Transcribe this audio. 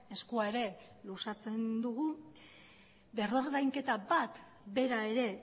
eskua ere luzatzen dugu berrordainketa bat bera ere